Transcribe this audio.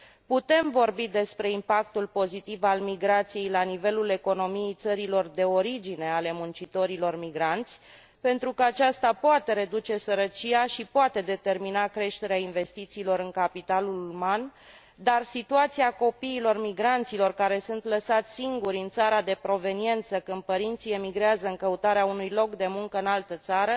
Putem vorbi despre impactul pozitiv al migrației la nivelul economiei țărilor de origine ale muncitorilor migranți, pentru că aceasta poate reduce sărăcia și poate determina creșterea investițiilor în capitalul uman, dar situația copiilor migranților, care sunt lăsați singuri în țara de proveniență când părinții emigrează în căutarea unui loc de muncă în altă țară,